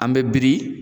An bɛ biri